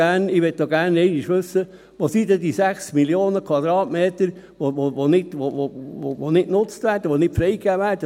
Ich möchte auch gerne einmal wissen, wo dann die 6 Mio. Quadratmeter sind, die nicht genutzt werden, die nicht freigegeben werden.